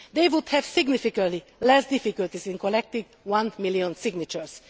They would have significantly less difficulty in collecting one million signatures.